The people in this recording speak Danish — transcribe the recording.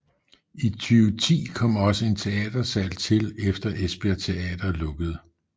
I 2010 kom også en teatersal til efter Esbjerg Teater lukkede